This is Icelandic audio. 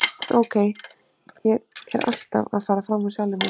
En ókei, ég er alltaf að fara fram úr sjálfum mér.